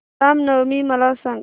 राम नवमी मला सांग